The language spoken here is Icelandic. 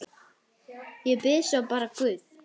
Og bið svo bara guð.